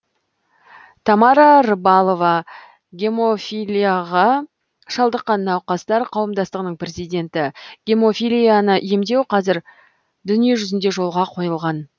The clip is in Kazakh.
тамара рыбалова гемофилияға шалдыққан науқастар қауымдастығының президенті гемофилияны емдеу қазір дүниежүзінде жолға қойылған